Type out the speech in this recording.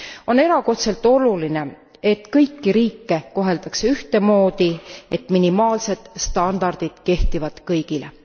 On erakordselt oluline, et kõiki riike koheldakse ühtemoodi, et minimaalsed standardid kehtivad kõigile.